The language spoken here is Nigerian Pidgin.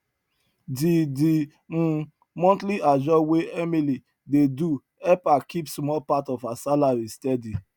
di di um monthly ajo wey emily dey do help her keep small part of her salary steady